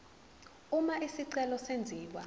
uma isicelo senziwa